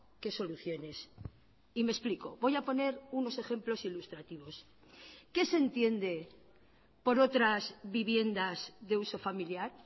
que soluciones y me explico voy a poner unos ejemplos ilustrativos qué se entiende por otras viviendas de uso familiar